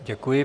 Děkuji.